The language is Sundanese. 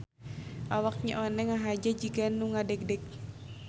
Awak Nyi Oneng ngahaja jiga nu ngadegdeg.